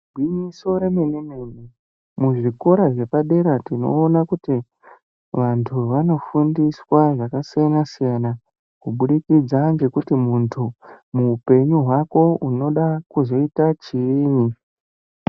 Igwinyiso remene mene muzvikora zvepadera tinoona kuti vanhu vanofundiswa zvakasiyana siyana kubudikidza ngekuti munhu muupenyu hwako unoda kuzoita chiini.